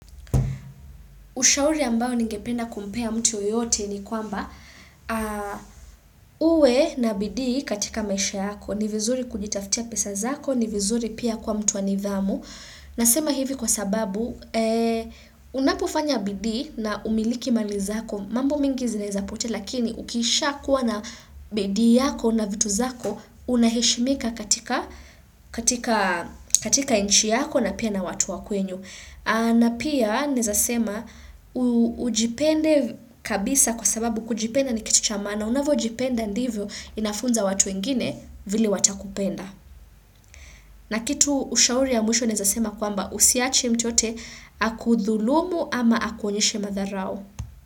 Ushauri ambao ningependa kumpea mtu yoyote ni kwamba uwe na bidii katika maisha yako. Ni vizuri kujitaftia pesa zako, ni vizuri pia kwa mtu wa nidhamu. Nasema hivi kwa sababu, unapofanya bidii na umiliki mali zako. Mambo mingi zinawezapotea, lakini ukiisha kuwa na bidii yako na vitu zako, unaheshimika katika nchi yako na pia na watu wa kwenyu. Na pia naweza sema, ujipende kabisa kwa sababu kujipenda ni kitu cha maana. Unavojipenda ndivyo inafunza watu wengine vile watakupenda. Na kitu ushauri ya mwisho nawezasema kwamba usiwache mtu yoyote akudhulumu ama akuonyeshe madharau.